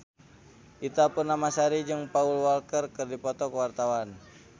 Ita Purnamasari jeung Paul Walker keur dipoto ku wartawan